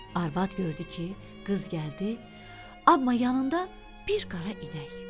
Arvad gördü ki, qız gəldi, amma yanında bir qara inək.